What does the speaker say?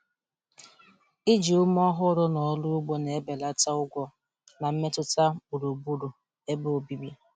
Ịji ume ọhụrụ n’ọrụ ugbo na-ebelata ụgwọ na mmetụta gburugburu ebe obibi.